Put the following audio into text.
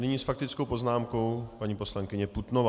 Nyní s faktickou poznámkou paní poslankyně Putnová.